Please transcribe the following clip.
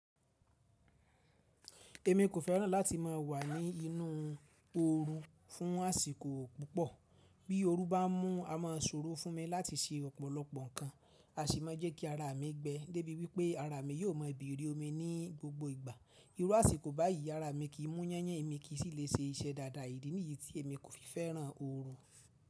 Èmi kò fẹ́ràn láti má a wà ní inú oru fún àsìkò púpọ̀. Bí ooru bá mú a má a ṣòro fún mi láti ṣe ọ̀pọ̀lọpọ̀ ǹkan, a sì má a jẹ́ kí ara mi gbẹ. Dé bí wípé ara mi yóò má a bèrè omi ní gbogbo ìgbà. Irú àsìkò báyìí ara mi kì í mú yányàn, èmi kì í sì lè ṣe iṣẹ́ dáadáa. Idí ni yí tí èmi kò fi fẹ́ràn ooru.